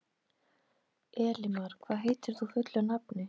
Elimar, hvað heitir þú fullu nafni?